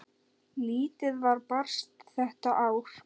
Lítið var barist þetta ár.